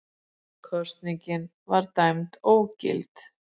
Kosningin var dæmd ógild